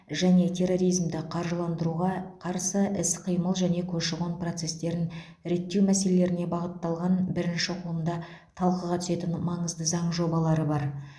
және терроризмді қаржыландыруға қарсы іс қимыл және көші қон процестерін реттеу мәселелеріне бағытталған бірінші оқылымда талқыға түсетін маңызды заң жобалары бар